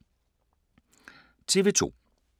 TV 2